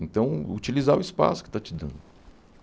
Então utilizar o espaço que está te dando.